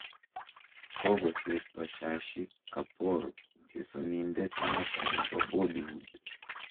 Kogosirto Shashi Kapoor chesonindet Nyota nebo Boollywood.